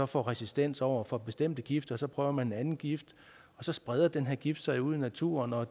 får resistens over for bestemte gifte så prøver man en anden gift og så spreder den her gift sig ude i naturen og